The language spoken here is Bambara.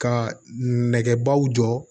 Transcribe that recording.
Ka nɛgɛbaw jɔ